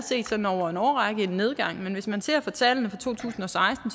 sådan over en årrække set en nedgang men hvis man ser på tallene for to tusind og seksten